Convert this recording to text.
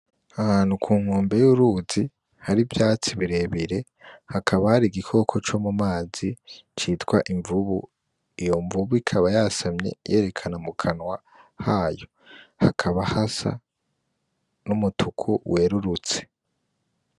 Ahantu kunkombe y'uruzi hari ivyatsi birebire, hakaba hari igikoko co mumazi citwa imvubu, iyo mvubu ikaba yasamye yerekana mukanwa hayo. Hakaba hasa n'umutuku werurutse.